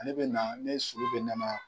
Ale bɛna ne sulu bɛ namaya.